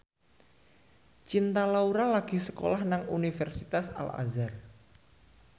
Cinta Laura lagi sekolah nang Universitas Al Azhar